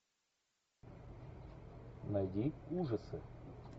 найди ужасы